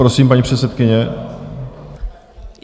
Prosím, paní předsedkyně.